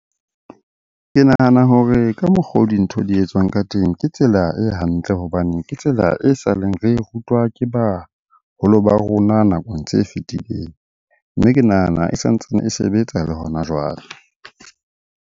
Ke nahana hore ka mokgwa o dintho di etswang ka teng ke tsela e hantle hobane ke tsela e saleng re rutwa ke baholo ba rona nakong tse fetileng. Mme ke nahana e sa ntsane e sebetsa le hona jwale.